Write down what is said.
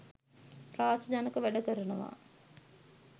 ත්‍රාසජනක වැඩ කරනවා.